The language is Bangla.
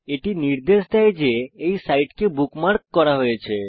এটি নির্দেশ দেয় যে এই সাইটকে বুকমার্ক করা হয়েছে